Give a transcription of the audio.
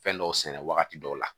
Fɛn dɔw sɛnɛ wagati dɔw la